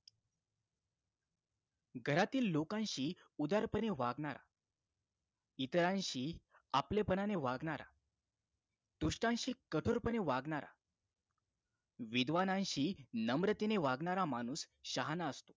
घरातील लोकांशी उदारपणे वागणारा इतरांशी आपलेपणाने वागणारा दृष्टांशी कठोरपणे वागणारा विद्वानांशी नम्रतेने वागणारा माणूस शहाणा असतो